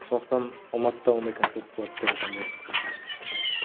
сондықтан алматыда ондай концерт болады деп айта алмаймын пока